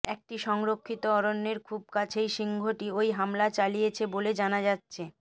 একটি সংরক্ষিত অরণ্যের খুব কাছেই সিংহটি ওই হামলা চালিয়েছে বলে জানা যাচ্ছে